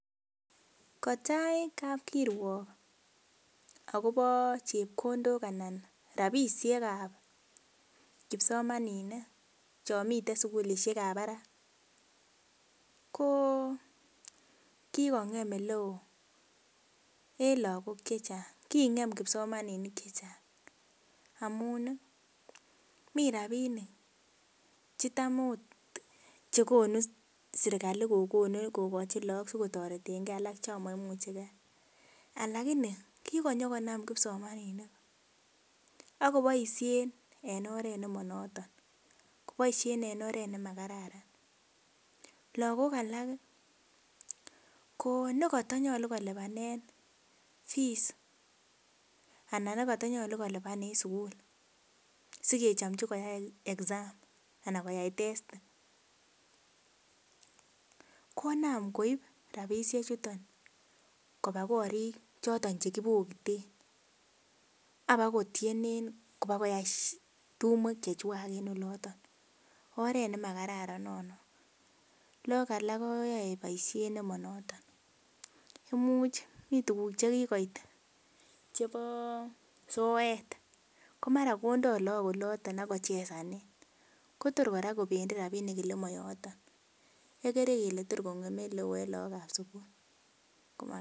Kotaii kapkirwok akopo chepkondok anan ropisiek ap kipsomaninik chomiten sukulishek ap barak ko kikongem oleo eng laakok chechang king'em kipsomaninik chechang amun mi rapinik chetam akot che konu serikali kokochi laak sikotoretenke alak chomoimuchegei alakini kinyokonam kipsomaninik akoboishen en oret nemanoton koboisie en oret nemakararan lakok alak ko nekatanyolu kolipane fees anan nekatanyolu kolipane sukul sikechomchi koyai exam ana koyai testi konam koip ropisiek chuto kopa korik choto chekipokite apakotoene kopokoyai tumwek chekwach en oloto oret nemakararan noton laak alak ko yoei boishet nema noton imuch mi tukuk chekikoit chepo soet ko mara kora konde laak oloten akochesane Kotor kora kopendi ropinik ole mayoto ikere ile torkongeme oleo eng laak ap sukul